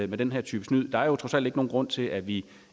den her type snyd der er jo trods alt ikke nogen grund til at vi